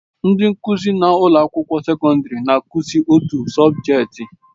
Ndị nkụzi na ụlọ akwụkwọ sekọndrị na-akụzi otu sọbjeti.